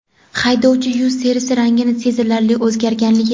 haydovchi yuz terisi rangining sezilarli o‘zgarganligi.